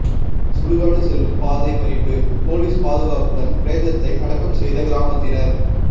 சுடுகாடு செல்லும் பாதை மறிப்பு போலீஸ் பாதுகாப்புடன் பிரேதத்தை அடக்கம் செய்த கிராமத்தினர்